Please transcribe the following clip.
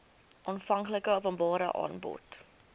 aanvanklike openbare aanbod